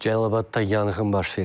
Cəlilabadda yanğın baş verib.